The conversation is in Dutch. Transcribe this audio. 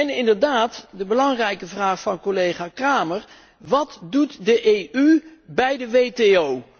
En inderdaad, de belangrijke vraag van collega Cramer wat doet de EU bij de WTO?